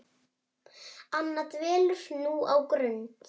Anna dvelur nú á Grund.